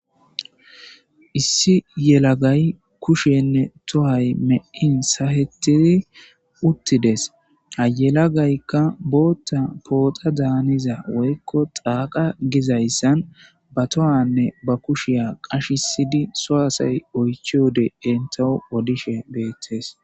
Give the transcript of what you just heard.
Issi yelagay kushenne tohay me7in sahettizi uttides ayelagaykka bootta pooxa daaniza woykko xaaqa gizayssan ba tohanne ba kushiya qashisidi so7asay oychi wode entao odishe beettes.